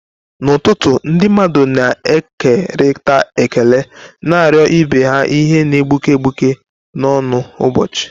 N'ụtụtụ, ndị mmadụ na-ekerịta ekele, na-arịọ ibe ha ihe na-egbuke egbuke na ọṅụ ụbọchị.